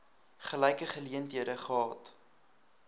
gelyke geleenthede gehad